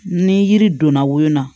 Ni yiri donna wo na